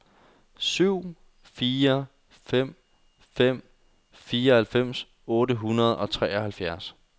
syv fire fem fem fireoghalvfems otte hundrede og treoghalvfjerds